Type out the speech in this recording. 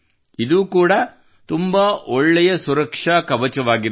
ಇದು ಕೂಡಾ ತುಂಬಾ ಒಳ್ಳೆಯ ಸುರಕ್ಷಾ ಕವಚವಾಗಿದೆ